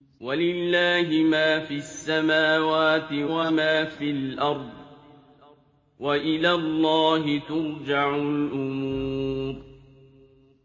وَلِلَّهِ مَا فِي السَّمَاوَاتِ وَمَا فِي الْأَرْضِ ۚ وَإِلَى اللَّهِ تُرْجَعُ الْأُمُورُ